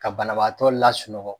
Ka banabaatɔ la sunɔgɔ.